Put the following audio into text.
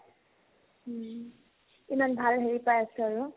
ইমান ভাল হেৰি পাই আছা ন